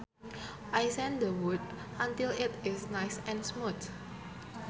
I sand the wood until it is nice and smooth